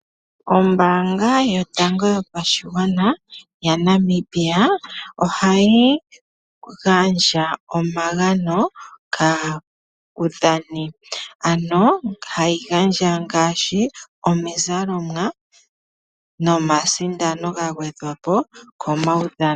Ombaanga yotango yopashigwana yaNamibia ohayi gandja omagano kaadhani. Ano ohayi gandja ngaashi omizalomwa nomasindano ga gwedhwa po komaudhano.